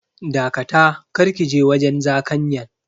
Dakata, kar kije wajen zakanyan.